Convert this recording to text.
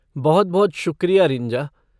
बहुत बहुत शुक्रिया रिंजा।